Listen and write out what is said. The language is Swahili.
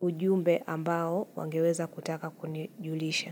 ujumbe ambao wangeweza kutaka kunijulisha.